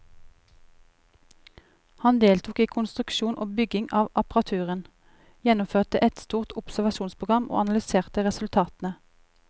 Han deltok i konstruksjon og bygging av apparaturen, gjennomførte et stort observasjonsprogram og analyserte resultatene.